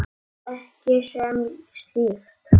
Ekki sem slíkt.